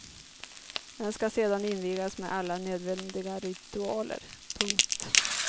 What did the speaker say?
Den ska sedan invigas med alla nödvändiga ritualer. punkt